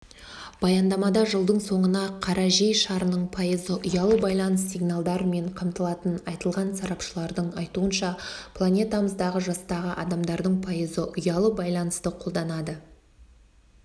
баяндамада жылдың соңына қарайжер шарының пайызы ұялы байланыс сигналдарымен қамтылатыны айтылған сарапшылардың айтуынша планетамыздағы жастағы адамдардың пайызы ұялы байланысты қолданады